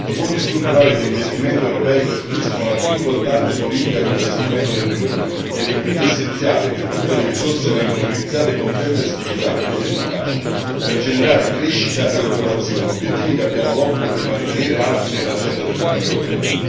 I fondi strutturali di investimento europei costituiscono la più importante politica di investimento dell'Unione ed è quindi essenziale che tutte le risorse vengano utilizzate con tempestività ed efficacia, per generare crescita ed occupazione, obiettivi che abbiamo l'obbligo di mantenere alti nell'agenda dell'Unione europea.